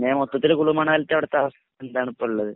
പിന്നെ മൊത്തത്തിൽ കുളുമണലിത്തെ അവിട്ത്തെ അവസ്ഥ എന്താണ്പ്പള്ളത്